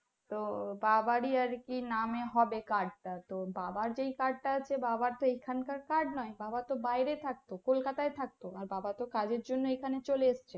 তো বাবাই আরকি নামে হবে card টা তো বাবার যে card টা আছে বাবার তো এখন কার card নয় বাবা তো বাইরে থাকতো kolkata ই থাকতো বাবা তো কাজের জন্য চলে এসেছে